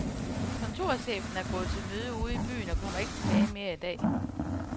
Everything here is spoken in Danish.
Kontorchefen er gået til møde ude i byen og kommer ikke tilbage mere i dag.